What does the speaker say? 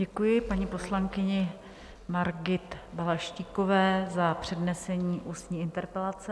Děkuji paní poslankyni Margit Balaštíkové za přednesení ústní interpelace.